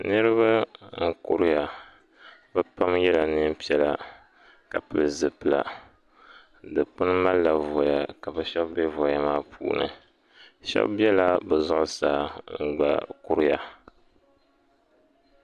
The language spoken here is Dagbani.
Niriba n kuriya bɛ pam yela niɛn'piɛla ka pili zipilila di puuni malila voya ka sheba be voya maa puuni sheba bela bɛ zuɣusaa n gba kuriya.